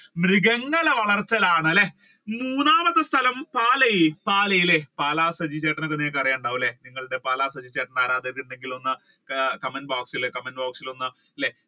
മൃഗങ്ങളെ വളർത്തൽ ആണല്ലേ മൂന്നാമത് സ്ഥലം പാലായ് പാലായ് അല്ലെ പാലാ സജി ചേട്ടനെ അറിയുന്നുണ്ടാവും അല്ലെ പാലാ സജി ചേട്ടൻ ആരാധകൻ ഉണ്ടെങ്കിൽ ഒന്ന് comment box അല്ലെ comment box ഇൽ ഒന്ന് അല്ലെ